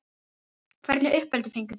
Hvernig uppeldi fenguð þið?